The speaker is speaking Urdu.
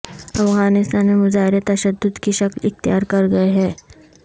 افغانستان میں مظاہرے تشدد کی شکل اختیار کر گئے ہیں